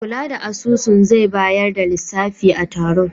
Mai kula da asusun zai bayar da lissafi a taron.